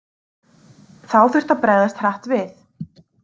Þá þurfti að bregðast hratt við.